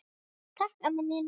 Takk amma mín.